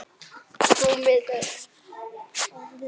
Rúmið er orðið of stutt.